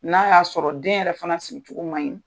N'a y'a sɔrɔ den yɛrɛ fana sigi cogo maɲi